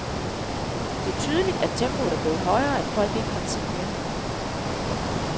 Det er tydeligt, at tempoet er blevet højere, og at folk ikke har tid mere.